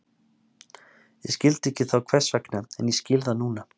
Ég skildi ekki þá hvers vegna, en ég skil það núna.